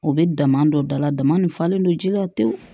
O bɛ dama dɔ da la dama nin falen don ji la tewu